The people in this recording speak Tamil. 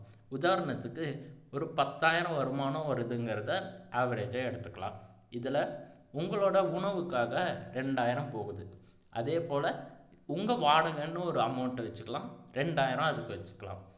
உதாரணத்துக்கு ஒரு பத்தாயிரம் வருமானம் வருதுங்கிறத average ஆ எடுத்துக்கலாம் இதுல உங்களோட உணவுக்காக ரெண்டாயிரம் போகுது அதேபோல உங்க வாடகைன்னு ஒரு amount வச்சுக்கலாம் ரெண்டாயிரம் அதுக்கு வச்சுக்கலாம்